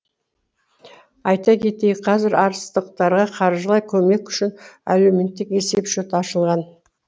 айта кетейік қазір арыстықтарға қаржылай көмек үшін әлеуметтік есеп шот ашылған